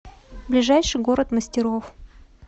ближайший город мастеров